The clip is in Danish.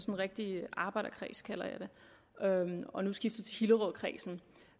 en rigtige arbejderkreds kalder jeg det og nu skifter jeg til hillerødkredsen